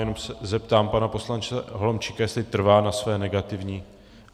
Jenom se zeptám pana poslance Holomčíka, jestli trvá na své negativní...